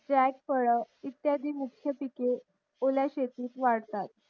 jack फळ इत्यादी मुख्य पिके ओल्या शेतीत वाढतात